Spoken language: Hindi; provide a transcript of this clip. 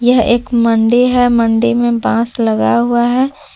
यह एक मंडी है मंडी में बास लगा हुआ है।